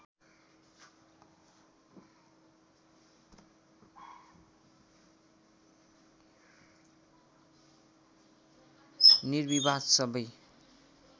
निर्विवाद सबै